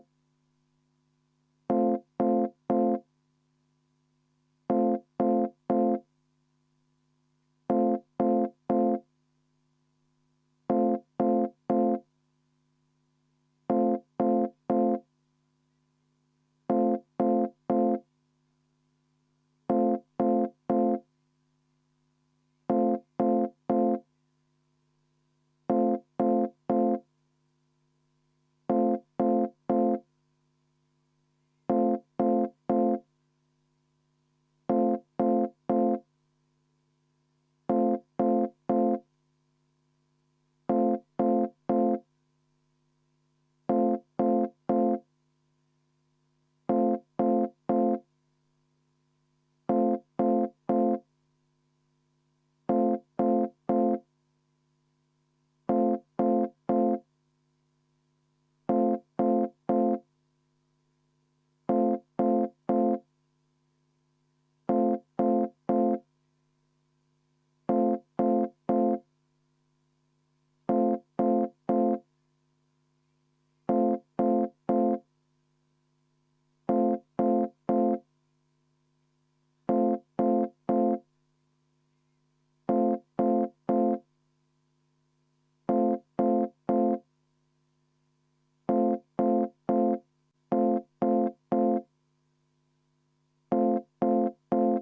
V a h e a e g